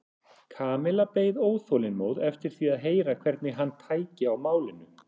Kamilla beið óþolinmóð eftir því að heyra hvernig hann tæki á málinu.